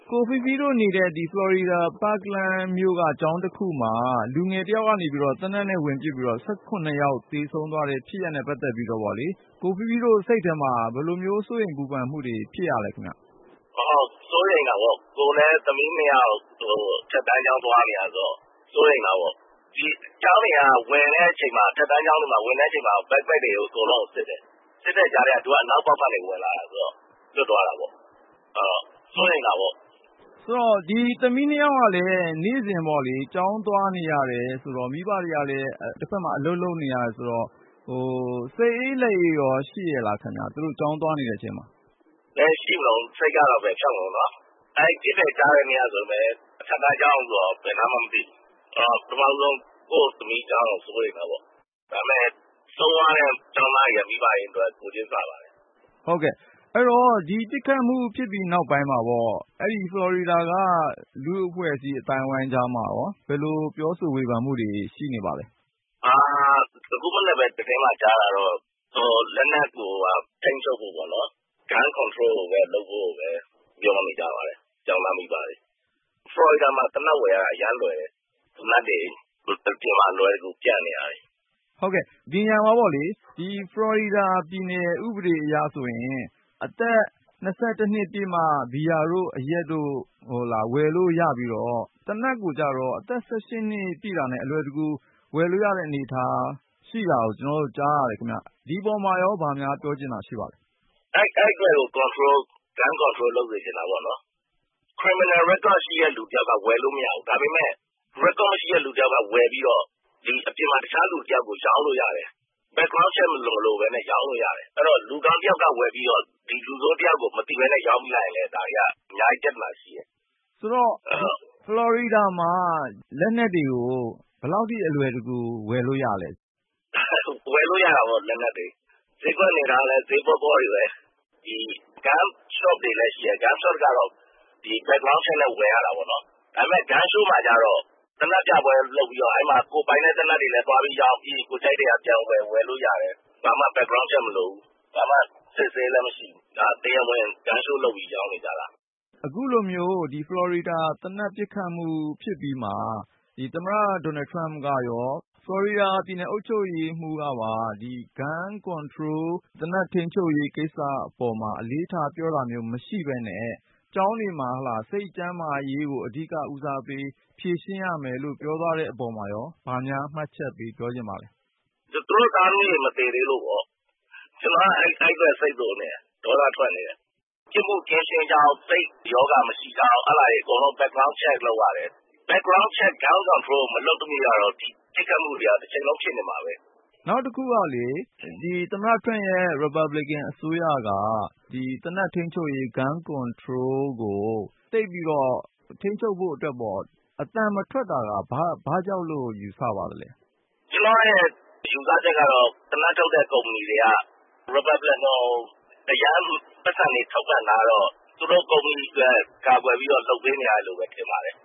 ကိုဖီဖီတို့နေတဲ့ ဖလော်ရီဒါ Parkland မြို့က ကျောင်းတခုမှာ လူငယ်တယောက်က သေနတ်နဲ့ဝင်ပစ်ပြီး လူ ယောက် သေဆုံးတဲ့ဖြစ်ရပ်နဲ့ ပတ်သက်ပြီးတော့ ကိုဖီးဖီးတို့ စိတ်ထဲမှာ ဘယ်လို စိုးရိမ်ပူပန်မှုတွေ ဖြစ်ရလဲ။ စိုးရိမ်တာပေါ့၊ ကိုယ့်မှာလဲ သမီး ၂ယောက်က အထက်တန်းကျောင်း သွားနေတာဆိုတော့.. စိုးရိမ်တာပေါ့။ ဒီအထက်တန်း ကျောင်းတွေက ဝင်တဲ့အချိန်မှာ ကျောပိုးအိတ် Backpack တွေကို အကုန်လုံးကို စစ်တယ်။ စစ်တဲ့ကြားထဲက သူက အနောက်ပေါက်ကနေ ဝင်လာတာဆိုတော့ လွတ်သွားတာပေ့ါ။ စိုးရိမ်ရပါတယ်။ သမီး ၂ယောက်ကလည်း နေ့စဉ် ကျောင်းသွားနေရတာဆိုတော့ တဖက်မှာလည်း မိဘတွေက အလုပ်လုပ်နေရတော့ သူတို့ ကျောင်းသွားနေတဲ့ အချိန်မှာ စိတ်အေးလက်အေးရော ရှိရဲ့လားခင်ဗျ။ ဘယ်ရှိမတုန်း၊ စိတ်က ဘယ်ဖြောင့်မတုန်း။ အဲဒီ ပစ်တယ်ကြားတဲ့နေက ဆိုရင်ပဲ.. အထက်တန်းကျောင်းဆိုတော့ ဘယ်နားမှန်းလဲ မသိတော့ ပထမဦးဆုံး ကိုယ့်သမီးကျောင်းလားဆိုပြီး စိုးရိမ်မိတာပေါ့။ ဒါပေမယ့် နဲနဲလှမ်းတဲ့နေရာ ဖြစ်နေတယ်။ ဆုံးသွားတဲ့ ကျောင်းသားတွေရဲ့ မိဘတွေအတွက် ကိုယ်ချင်းစာပါတယ်။ ဟုတ်ကဲ့၊ အဲဒီတော့ ဒီပစ်ခတ်မှု ဖြစ်ပြီးနောက်ပိုင်းမှာပေါ့ အဲဒီ ဖလော်ရီဒါက လူ့အဖွဲ့အစည်း အသိုင်းဝိုင်းကြားမှာရော ဘယ်လို ပြောဆို ဝေဖန်မှုတွေ ရှိနေပါလဲ။ အခုမနက်ပဲ သတင်းမှာကြားတာတော့ ဟို လက်နက်ကို ထိန်းချုပ်ဖို့ပေါ့နော်… Gun Control လုပ်ဖို့ကိုပဲ ကျောင်းသားမိဘ တွေက ပြောနေကြပါတယ်။ ဖလော်ရီဒါမှာ သေနတ်ဝယ်ရတာ အရမ်းလွယ်တယ်။ သေနတ်တွေက အပြင်မှာ အလွယ်တကူ ပျံ့နေတာပဲ။ ဟုတ်ကဲ့၊ ဒီနေရာမှာပေါ့လေ.. ဖလော်ရီဒါပြည်နယ် ဥပဒေအရဆိုရင် အသက် နှစ်ပြည့်မှ ဘီယာတို့ အရက်တို့ ဝယ်လို့ရပြီးတော့ ၊ သေနတ်ကိုကျတော့ အသက် နှစ်ပြည့်တာနဲ့ အလွယ်တကူ ဝယ်လို့ရတဲ့အနေအထား ရှိတာကိုသိရတော့ ဒီပေါ်မှာရော ဘာများပြောချင်တာ ရှိပါသလဲ။ အဲဒီအတွက်ကို Gun Control လုပ်စေချင်တာပေါ့နော်။ သေနတ်က Criminal Record ရှိတဲ့လူ က ဝယ်လို့မရဘူး။ ဒါပေမဲ့ Record မရှိတဲ့သူ တယောက်က ဝယ်ပြီးတော့ အပြင်မှာ အခြားလူတယောက်ကို ပြန်ရောင်းလို့ရတယ်။ နောက်ကြောင်းရာဇဝင် ကင်းရှင်းမှု ရှိ/မရှိ Background Check မလိုပဲနဲ့ ရောင်းလို့ရတယ်။ အဲဒီတော့ လူကောင်းတယောက်က ဝယ်ပြီးတော့ ဒီလူဆိုးတယောက်ကို မသိပဲနဲ့ ရောင်းလိုက်မိရင်လည်း ဒါတွေက အများကြီး ပြဿနာရှိတယ်။ ဆိုတော့ ဖလော်ရီဒါမှာ လက်နက်တွေကို ဘယ်လောက်ထိ အလွယ်တကူ ဝယ်လို့ရလဲ။ ဝယ်လို့ရတာပေါ့ လက်နက်တွေ၊ ဈေးကွက်အနေထားကလည်း ဈေးပေါပေါတွေပဲ။ ဒီ Gun Shop တွေလဲရှိတယ်၊ Gun Shop ကတော့ Background Check နဲ့ဝယ်ရတာပေါ့။ ဒါပေမယ့် Gun Show မှာကျတော့၊ သေနတ် အရောင်းပြပွဲလုပ်ပြီးတော့ အဲဒီမှာ ကိုယ်ပိုင်တဲ့ သေနတ်တွေလည်း သွားပြီးရောင်း.. ၊ ပြီးရင် ကိုယ်ကြိုက်တဲ့ဟာ ပြန်ဝယ် - ဝယ်လို့ရတယ်။ ဘာမှ Background Check မလိုဘူး၊ ဘာအစစ်အဆေးမှလဲ မရှိဘူး။ ဒါ တရားဝင် Gun Show လုပ်ပြီး ရောင်းနေကြတာ။ အခုလိုမျိုး ဖလော်ရီဒါ သေနတ်ပစ်ခတ်မှု ဖြစ်အပြီးမှာ သမ္မတ Donald Trump ကရော၊ ဖလော်ရီဒါပြည်နယ် အုပ်ချုပ်ရေးမှူးကပါ ဒီသေနတ်ထိန်းချုပ်ရေး ကိစ္စအပေါ်မှာ အလေးထားပြောတာမျိုး မရှိပဲနဲ့.. ကျောင်းတွေမှာ စိတ်ကျန်းမာရေးကို အဓိကဦးစားပေး ဖြေရှင်းရမယ်လို့ ပြောသွားတဲ့အပေါ်မှာရော ဘာများမှတ်ချက်ပေးချင်ပါသလဲ။ သူတို့ သားသမီးတွေ မသေသေးလို့ပေါ့။ အဲဒီအတွက်ကို ကျနော်က ဒေါသထွက် စိတ်တိုနေတာ။ ပြစ်မှုကင်းရှင်းကြောင်း ရောဂါ မရှိကြောင်း အဲဒါတွေအကုန်လုံး Background Check လုပ်ရတယ်။ Background Check နဲ့ Gun Control မလုပ်သရွေ့ကတော့ ပစ်ခတ်မှုတွေက တချိန်လုံး ဖြစ်နေမှာပဲ။ နောက်တခုကလေ.. သမ္မတ Trump ရဲ့ ရီပတ်ဘလစ်ကန် အစိုးရက Gun Control ကို ထိန်းချုပ်ဖို့အတွက် သိပ်ပြီးတော့ အသံ မထွက်တာက ဘာ့ကြောင့်လို့ ယူဆပါသလဲ။ ကျနော့်ရဲ့ ယူဆချက်ကတော့ သေနတ်ထုတ်တဲ့ ကုမ္ပဏီတွေက ရီပတ်ဘလစ်ကန်တွေကို ပိုက်ဆံတွေ အရမ်းထောက်ပံ့ ထားတော့ သူတို့ကုမ္ပဏီအတွက် ကာကွယ်ပြီးတော့ လုပ်ပေးနေရတယ်လို့ပဲ ထင်ပါတယ်